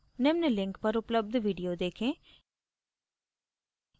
निम्न link पर उपलब्ध video देखें